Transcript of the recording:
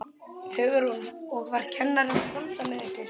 Hugrún: Og var kennarinn að dansa með ykkur?